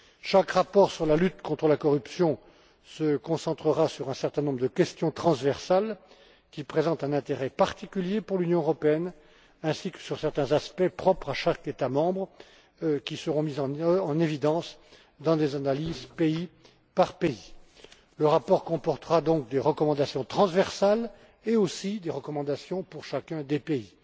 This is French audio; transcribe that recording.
Chaque rapport sur la lutte contre la corruption se concentrera sur un certain nombre de questions transversales, qui présentent un intérêt particulier pour l'Union européenne, ainsi que sur certains aspects propres à chaque État membre, qui seront mis en évidence dans des analyses pays par pays. Le rapport comportera, donc, des recommandations transversales ainsi que des recommandations pour chacun des pays.